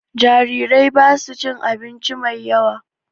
Jarirai basu cin abinci mai yawa